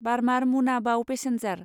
Barmer Munabao passenger